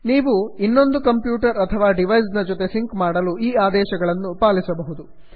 ನೀವು ಇನ್ನೊಂದು ಕಂಪ್ಯೂಟರ್ ಅಥವಾ ಡಿವೈಸ್ ನ ಜೊತೆ ಸಿಂಕ್ ಮಾಡಲು ಈ ಆದೇಶಗಳನ್ನು ಪಾಲಿಸಬಹುದು